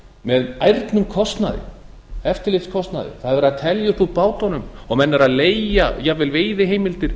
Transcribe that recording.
með ærnum eftirlitskostnaði það er verið að telja upp úr bátunum og menn eru að leigja jafnvel veiðiheimildir